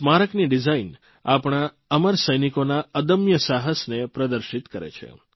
સ્મારકની ડીઝાઇન આપણા અમર સૈનિકોના અદમ્ય સાહસને પ્રદર્શિત કરે છે